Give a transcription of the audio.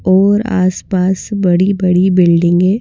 और आसपास बड़ी-बड़ी बिल्डिंगे --